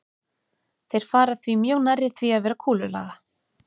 Þeir fara því mjög nærri því að vera kúlulaga.